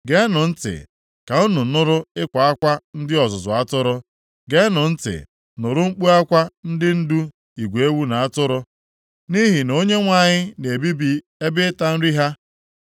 Geenụ ntị ka unu nụrụ ịkwa akwa ndị ọzụzụ atụrụ, geenụ ntị nụrụ mkpu akwa ndị ndu igwe ewu na atụrụ, nʼihi na Onyenwe anyị na-ebibi ebe ịta nri ha.